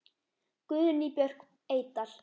Guðný Björk Eydal.